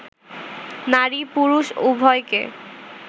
নারী-পুরুষ উভয়কে